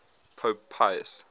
pope pius